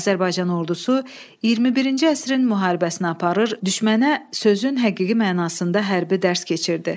Azərbaycan ordusu 21-ci əsrin müharibəsini aparır, düşmənə sözün həqiqi mənasında hərbi dərs keçirdi.